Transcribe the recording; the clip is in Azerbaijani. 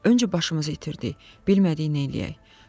Öncə başımızı itirdik, bilmədik neyləyək.